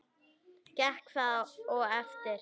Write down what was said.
Gekk það og eftir.